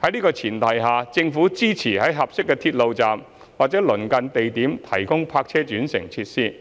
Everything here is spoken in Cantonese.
在這前提下，政府支持在合適的鐵路站或鄰近地點提供泊車轉乘設施，